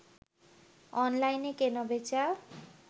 অনলাইনে কেনা বেচা